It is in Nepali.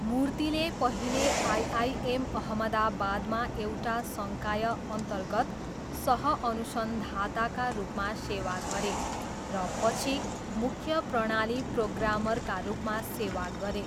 मूर्तिले पहिले आइआइएम अहमदाबादमा एउटा सङ्कायअन्तर्गत सह अनुसन्धाताका रूपमा सेवा गरे र पछि मुख्य प्रणाली प्रोग्रामरका रूपमा सेवा गरे।